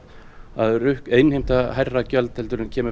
að innheimta hærra gjald heldur en kemur